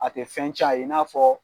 A tɛ fɛn cɛn a ye i n'a fɔ.